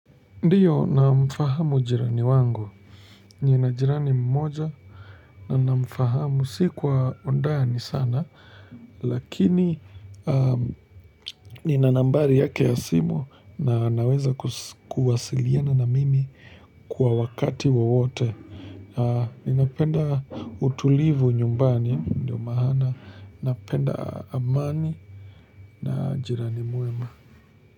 Ndio namfahamu jirani wangu nina jirani mmoja na namfahamu, si kwa undani sana lakini nina nambari yake ya simu na naweza kuwasiliana na mimi kwa wakati wowote ninapenda utulivu nyumbani ndio maana napenda amani na jirani mwema.